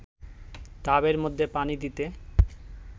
ডাবের মধ্যে পানি দিতে